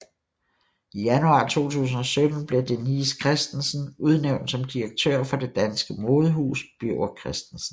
I januar 2017 blev Denise Christensen udnævnt som direktør for det danske modehus Birger Christensen